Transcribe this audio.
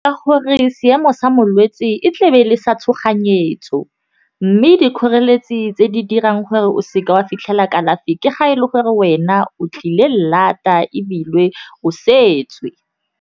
Ka gore seemo sa molwetse e tle be le sa tshoganyetso, mme dikgoreletsi tse di dirang gore o se ke wa fitlhela kalafi ke ga e le gore wena o tlile lata ebile o setswe.